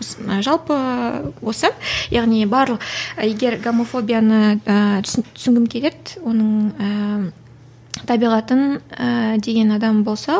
осы жалпы осы яғни егер гомофобияны ыыы түсінгім келеді оның ыыы табиғатын ыыы деген адам болса